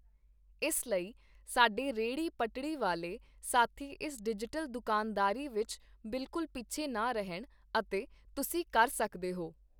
ਇਸ ਲਈ, ਸਾਡੇ ਰੇਹੜੀ ਪਟੜੀ ਵਾਲੇ ਸਾਥੀ ਇਸ ਡਿਜੀਟਲ ਦੁਕਾਨਦਾਰੀ ਵਿੱਚ ਬਿਲਕੁਂਲ ਪਿੱਛੇ ਨਾ ਰਹਿਣ, ਅਤੇ ਤੁਸੀਂ ਕਰ ਸਕਦੇ ਹੋ।